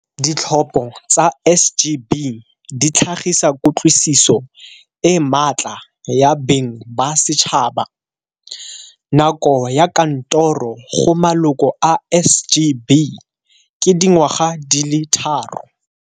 Ditlhopho tsa SGB di tlhagisa kutlwisiso e matla ya beng ba setšhaba. Nako ya kantoro go maloko a SGB ke dingwaga di le tharo.